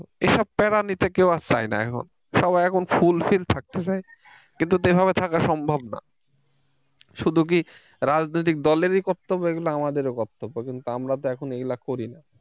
এসব প্যারা নিতে কেউ আর চায় না এখন সবাই এখন full fill থাকতে চায় কিন্তু তো এভাবে থাকা সম্ভব না শুধু কি রাজনৈতিক দলেরই কর্তব্য এগুলা আমাদের ও কর্তব্য কিন্তু আমরা তো এখন এগুলা করিনা।